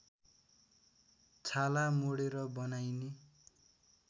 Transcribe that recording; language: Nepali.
छाला मोडेर बनाइने